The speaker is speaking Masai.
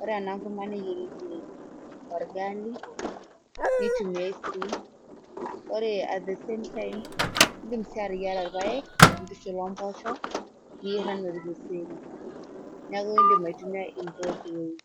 ore ena kurma neyierieki orgali nitumiae sii ore at the same time indim sii ateyiara irpayek intushul omposhok niyierr enaa orkeseri niaku indim aitumia in both ways.